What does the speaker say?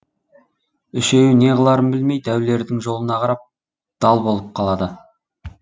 үшеуі не қыларын білмей дәулердің жолына қарап дал болып қалады